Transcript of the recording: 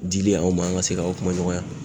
dili aw ma an ka se k'a kuma ɲɔgɔnya